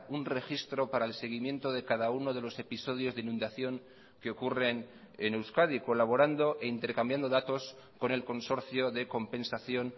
un registro para el seguimiento de cada uno de los episodios de inundación que ocurren en euskadi colaborando e intercambiando datos con el consorcio de compensación